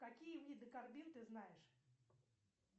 какие виды карбин ты знаешь